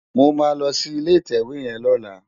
Mó má lò si ilé itèwé yèn lòlá